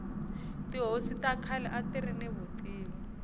tihosi ta khale atiri ni vutivi